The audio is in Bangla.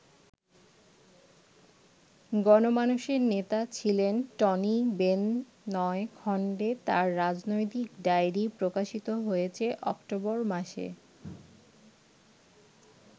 গণমানুষের নেতা ছিলেন টনি বেন নয় খন্ডে তাঁর রাজনৈতিক ডায়রি প্রকাশিত হয়েছে অক্টোবর মাসে।